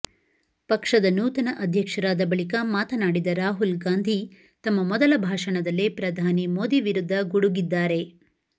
ಪಕ್ಷದ ನೂತನ ಅಧ್ಯಕ್ಷರಾದ ಬಳಿಕ ಮಾತನಾಡಿದ ರಾಹುಲ್ ಗಾಂಧಿ ತಮ್ಮ ಮೊದಲ ಭಾಷಣದಲ್ಲೇ ಪ್ರಧಾನಿ ಮೋದಿ ವಿರುದ್ಧ ಗುಡುಗಿದ್ದಾರೆ